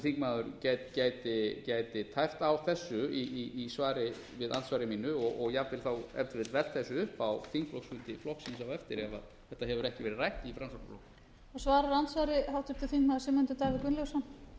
þingmaður gæti tæpt á þessu í svari við andsvari mínu og jafnvel þá ef til vill velt þessu upp á þingflokksfundi flokksins á eftir ef þetta hefur ekki verið rætt í framsóknarflokknum